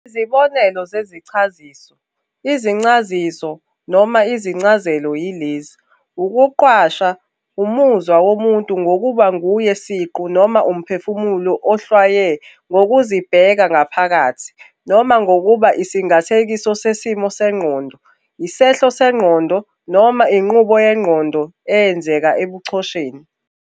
Izibonelo zezichaziso, izincasiso noma izincazelo yilezi - ukuqhwasha, umuzwa womuntu ngokuba nguye siqu noma umphefumulo ohlwaywe "ngokuzibheka ngaphakathi", noma ngokuba isingathekiso sesimo sengqondo, isehlo sengqondo noma inqubo yengqondo eyenzeka ebuchosheni.